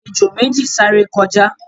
ejò méji sáré kọjá